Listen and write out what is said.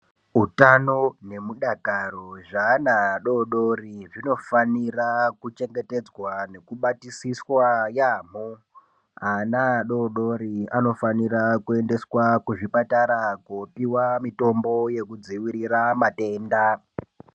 Hutano hwemukataro hwevana vadodori zvinofana kuchengetedzwa nekubatisiswa yambo ana adodori anofanira kuendeswa kuzvipatara kofundiswa mitombo yekudzivirira matenda.